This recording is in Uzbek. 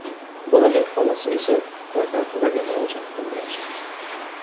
Bolaning onasi esa prokuraturaga murojaat qilgan.